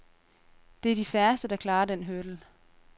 Det er de færreste, der klarer den hurdle.